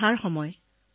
বাৰিষাৰ বতৰ